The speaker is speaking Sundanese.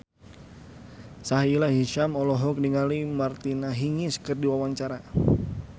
Sahila Hisyam olohok ningali Martina Hingis keur diwawancara